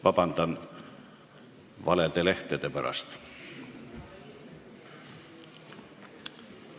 Vabandust valede lehtede pärast!